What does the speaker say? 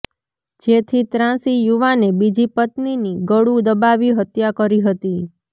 જેથી ત્રાસી યુવાને બીજી પત્નીની ગળું દબાવી હત્યા કરી હતી